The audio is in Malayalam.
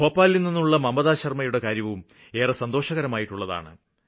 ഭോപാലില് നിന്നുള്ള മമത ശര്മ്മയുടെ കാര്യവും ഏറെ സന്തോഷകരമായിട്ടുള്ളതാണ്